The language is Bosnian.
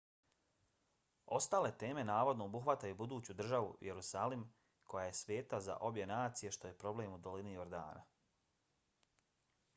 ostale teme navodno obuhvataju buduću državu jerusalim koja je sveta za obje nacije što je problem u dolini jordana